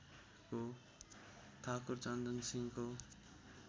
ठाकुर चन्दन सिंहको